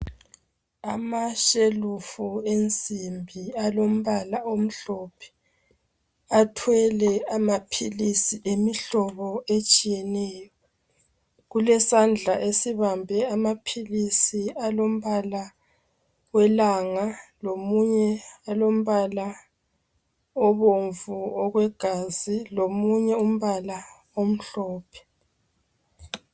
Amashelufu ensimbi alombala omhlophe. Athwele amaphilisi emihlobo etshiyeneyo. Kulesandla esibambe amaphilisi alombala we langa, lomunye olombala obomvu okwegazi, lomunye umbala omhlophe.